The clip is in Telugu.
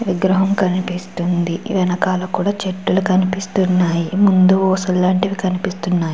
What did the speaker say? విగ్రహం కనిపిస్తుంది. వెనకాల కూడా చెట్లు కనిపిస్తున్నాయి. ముందు ఊసులు లాంటివి కనిపిస్తున్నాయి.